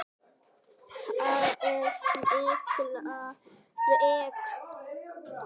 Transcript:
Ha, er Milla veik?